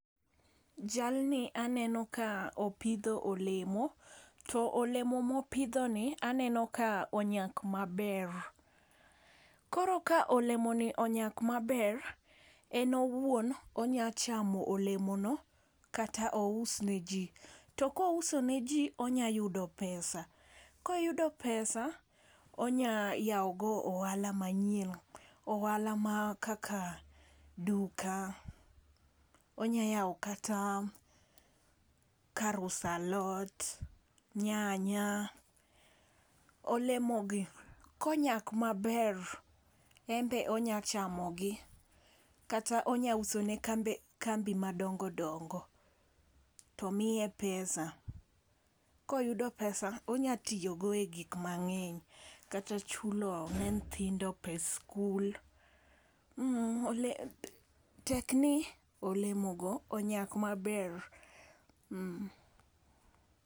Jalni aneno ka opidho olemo to olemo mopidho ni aneno ka onyak maber. Koro ka olemo ni onyak maber eno wuon onya chamo olemono kata ous ne jii. To kouso ne jii onya yudo pesa , koyudo pesa onya yawo go ohala manyien ohala mar kaka duka onya yawo kata kar usa lot, nyanya. Olemo gi konyak maber en be onya chamogi kata onya uso ne kambe kambi madongodongo to miye pesa koyudo pesa onya tiyo go e gik mangeny kata chulo ne nyithindo pes skul tek ni olemo go onyak maber .